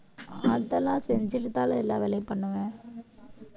அதெல்லாம் செஞ்சுட்டுதானே எல்லா வேலையும் பண்ணுவேன்